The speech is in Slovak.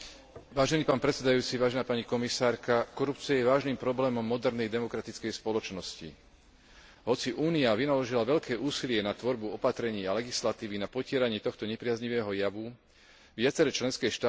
Korupcia je vážnym problémom modernej demokratickej spoločnosti. Hoci Únia vynaložila veľké úsilie na tvorbu opatrení a legislatívy na potieranie tohto nepriaznivého javu, viaceré členské štáty s jej implementáciou stále otáľajú.